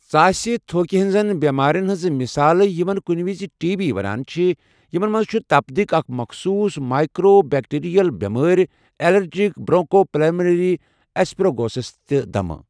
ژاسہِ تھو٘كہِ ہنزن بیمارین ہنزٕ مِثالہٕ ، یمن كُنہِ وِزِ ٹی بی ونان چھِ ، یمن منز چھِ تپدِق، اكھ مخصوُص مایكروبیكٹیریل بیمٲرِ ، ایلرجِك برونكو پلمِنیری ایسپرگلوسِس تہٕ دمہٕ ۔